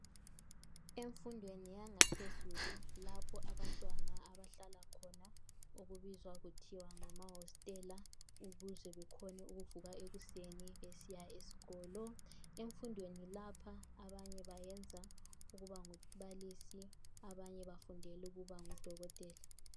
Emfundweni yangaphezulu lapho abantwana abahlala khona okubizwa kuthiwa ngama hositela, ukuze bekhone ukuvuka ekuseni besiya esikolo. Emfundweni lapha abanye bayenza ukubangumbalisi, abanye bafundela ukuba ngudokotela.